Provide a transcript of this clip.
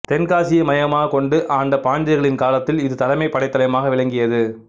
தென்காசியை மையமாக கொண்டு ஆண்ட பாண்டியர்களின் காலத்தில் இது தலைமை படைத்தளமாக விளங்கியது